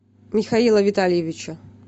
михаила витальевича